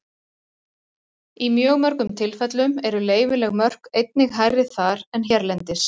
Í mjög mörgum tilfellum eru leyfileg mörk einnig hærri þar en hérlendis.